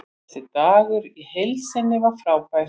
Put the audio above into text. Þessi dagur í heild sinni var frábær.